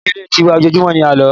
Ní ilé ti wa, ojojumo ní àló.